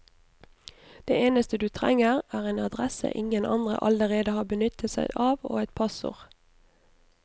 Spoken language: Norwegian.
Det eneste du trenger, er en adresse ingen andre allerede har benyttet seg av, og et passord.